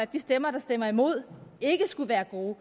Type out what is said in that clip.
de stemmer der stemmer imod ikke skulle være gode